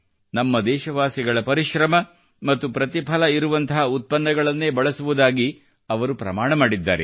ನಮ್ಮ ದೇಶವಾಸಿಗಳ ಪರಿಶ್ರಮ ಮತ್ತು ಪ್ರತಿಫಲ ಇರುವಂಥ ಉತ್ಪನ್ನಗಳನ್ನೇ ಬಳಸುವುದಾಗಿ ಅವರು ಪ್ರಮಾಣ ಮಾಡಿದ್ದಾರೆ